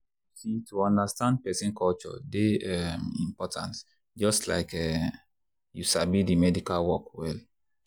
you see to understand person culture dey um important just like say um you sabi the medical work well.